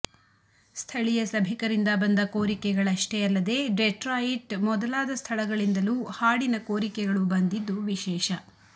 ಸ್ಥಳೀಯ ಸಭಿಕರಿಂದ ಬಂದ ಕೋರಿಕೆಗಳಷ್ಟೇ ಅಲ್ಲದೇ ಡೆಟ್ರಾಯಿಟ್ ಮೊದಲಾದ ಸ್ಥಳಗಳಿಂದಲೂ ಹಾಡಿನ ಕೋರಿಕೆಗಳು ಬಂದಿದ್ದು ವಿಶೇಷ